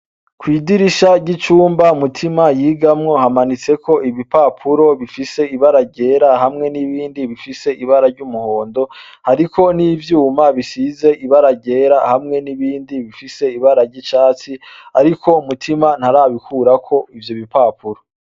Kw'idirisha ry'icumba Mutima yigamwo hamanitseko ibipapuro bifise ibara ryera hamwe n'ibindi bifise ibara risa n'umuhondo. Hariko n'ivyuma bisize ibara ryera hamwe n'ibindi bifise ibara risa n'icatsi ariko Mutima ntarabikurako ivyo bipapuro.